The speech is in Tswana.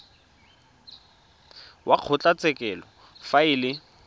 wa kgotlatshekelo fa e le